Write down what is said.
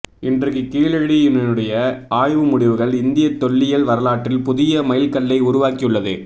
இன்றைக்குக் கீழடி யினுடைய ஆய்வு முடிவுகள் இந்திய தொல்லியல் வரலாற்றில் புதிய மைல்கல்லை உருவாக்கியுள்ளது